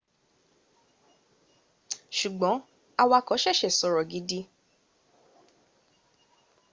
sugbon awako sese sori gidi